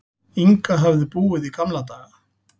Inga höfðu búið í gamla daga.